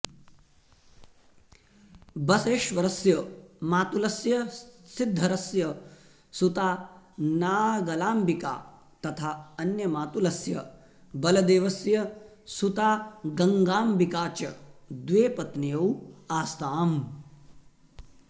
बसवेश्वरस्य मातुलस्य सिद्धरस्य सुता नागलाम्बिका तथा अन्यमातुलस्य बलदेवस्य सुता गङ्गाम्बिका च द्वे पत्न्यौ आस्ताम्